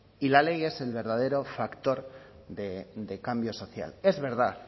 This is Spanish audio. y la ley es el verdadero factor de cambio social es verdad